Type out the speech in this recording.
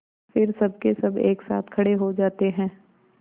फिर सबकेसब एक साथ खड़े हो जाते हैं